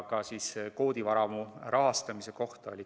Küsimusi oli ka koodivaramu rahastamise kohta.